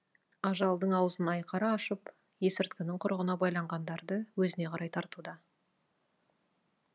ажалдың аузын айқара ашып есірткінің құрығына байланғандарды өзіне қарай тартуда